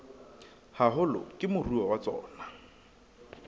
haholo ke moruo wa tsona